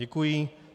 Děkuji.